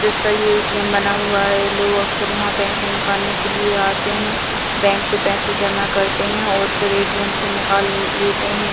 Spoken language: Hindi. इसका ये ए.टी.एम. बना हुआ है लोग अक्सर यहाँ पैसे निकालने के लिए आते हैं बैंक से पैसे जमा करते हैं और फिर ए.टी.एम. से निकाल लेते हैं ।